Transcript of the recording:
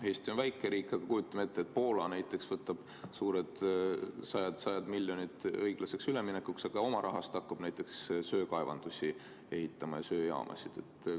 Eesti on väike riik, aga kujutame ette, et näiteks Poola võtab vastu sajad miljonid eurod õiglaseks üleminekuks, aga oma rahast hakkab söekaevandusi ja söejaamasid ehitama.